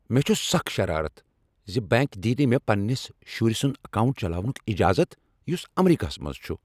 مےٚ چُھ سکھ شرارتھ ز بنٛک دِیہ نہٕ مےٚ پنٛنس شُرۍ سنٛد اکاونٹ چلاونُک اجازت یُس امریکہس منٛز چُھ ۔